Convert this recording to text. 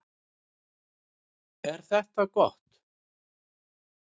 Er þetta ekki gott?